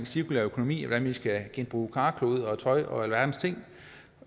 cirkulær økonomi og vi skal genbruge karklude og tøj og alverdens ting